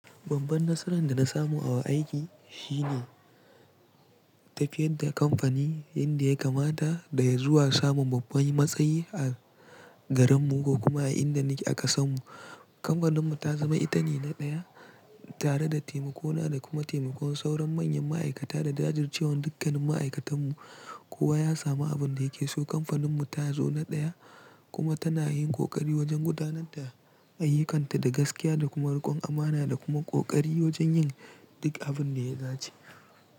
Babban nasaran da na samu a wa aiki shine tafiyar da kamfani inda ya kamata da ya zuwa samun mafi matsayi a garinmu ko kuma a inda nake a ƙasanmu. Kamfaninmu ta zama ita ne na ɗaya tare da taimako na da kuma taimakon sauran manyan ma'aikata da jajir cewan dukkanin ma'aikatanmu kowa ya samu abin da yake so. Kamfaninmu ta zo na ɗaya kuma tana yin ƙoƙari wajen gudanar da ayyukanta da gaskiya da kuma riƙon amana da kuma ƙoƙari wajen yin duk abin da ya dace.